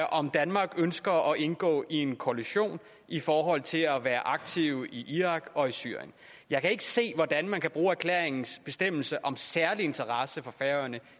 om danmark ønsker at indgå i en koalition i forhold til at være aktive i irak og i syrien jeg kan ikke se hvordan man kan bruge erklæringens bestemmelse om særlig interesse for færøerne